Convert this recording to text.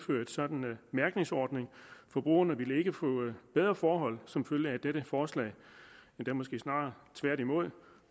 sådan mærkningsordning forbrugerne ville ikke få bedre forhold som følge af dette forslag endda måske snarere tværtimod